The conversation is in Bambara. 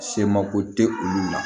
Se mako tɛ olu la